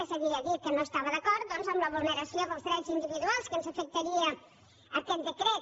és a dir ha dit que no estava d’acord doncs en la vulneració dels drets individuals que ens afectaria aquest decret